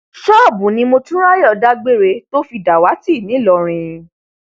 ṣọọbù ni motunráyọ dágbére tó fi dàwátì ńlọrọìn